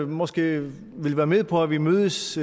måske vil være med på at vi mødes